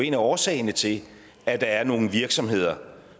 en af årsagerne til at der er nogle virksomheder